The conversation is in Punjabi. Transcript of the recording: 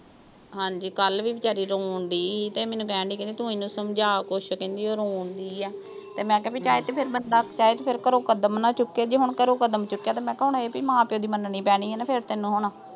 ਹਾਂਜੀ, ਕੱਲ੍ਹ ਵੀ ਵਿਚਾਰੀ ਰੋਣ ਡਈ ਤੇ ਇਹ ਮੈਨੂੰ ਕਹਿਣ ਡਈ ਕਿ ਤੂੰ ਇਹਨੂੰ ਸਮਝਾ ਕੁਸ਼ ਕਹਿੰਦੀ ਉਹ ਰੋਣ ਡਈ ਆ। ਤੇ ਮੈਂ ਕਿਹਾ ਚਾਹੇ ਤੇ ਫਿਰ ਬੰਦਾ ਚਾਹੇ ਤੇ ਘਰੋਂ ਕਦਮ ਨਾ ਚੁੱਕੇ। ਜੇ ਹੁਣ ਘਰੋਂ ਕਦਮ ਚੁੱਕਿਆ ਤਾਂ ਮੈਂ ਕਿਹਾ ਹੁਣ ਇਹ ਭਈ ਮਾਂ-ਪਿਓ ਦੀ ਮੰਨਣੀ ਪੈਣੀ ਆ ਨਾਹ ਤੈਨੂੰ ਹੁਣ।